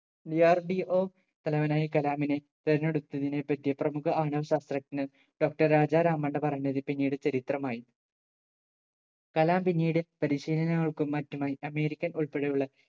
DRDO തലവനായി കലാമിനെ തെരഞ്ഞെടുത്തതിന് പറ്റി പ്രമുഖ അണു ശാസ്ത്രജ്ഞൻ doctor രാജാറാം പണ്ടു പറഞ്ഞത് പിന്നീട് ചരിത്രമായി കലാം പിന്നീട് പരിശീലനങ്ങൾക്കും മറ്റുമായി american ഉൾപ്പെടെയുള്ള